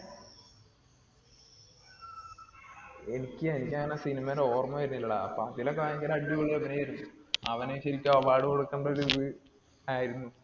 എനിക്ക് എനിക്ക് അങ്ങിനെ cinema ടെ ഓർമ്മ വരുന്നില്ലെടാ. അപ്പൊ അതില് ഭയങ്കര അടിപൊളി അഭിനയം ആയിരുന്നു. അവന് ശരിക്കും award കൊടുക്കേണ്ട ഒരു ഇത് ആയിരുന്നു.